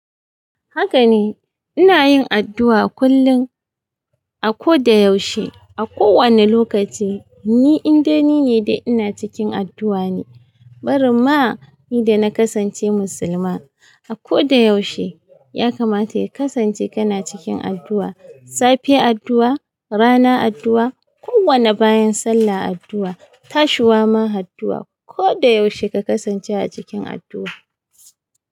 Haka ne, ina yin addu'a kullum a ko da yaushe, a kowane lokaci. Ni indai nine da ina cikin addu'a ne. Bari ma ni da na kasance musulma, a ko da yaushe ya kamata ya kasance kana cikin addu'a. Safe addu'a, rana addu'a, kowane bayan sallah addu'a, tashiwa ma addu'a. Ko da yaushe ka kasance a cikin addu'a.